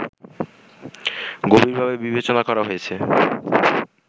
গভীরভাবে বিবেচনা করা হয়েছে